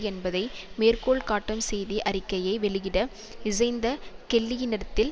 என்பதை மேற்கோள் காட்டும் செய்தி அறிக்கையை வெளியிட இசைந்த கெல்லியினிடத்தில்